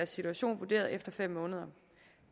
situation vurderet efter fem måneder